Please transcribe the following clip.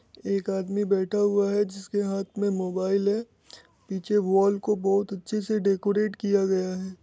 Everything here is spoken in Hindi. एक आदमी बैठा हुआ है जिसके हाथ मे मोबाईल है पीछे वॉल को बहुत अच्छे से डेकोरेट किया गया है।